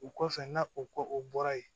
O kɔfɛ n'a o ko o bɔra yen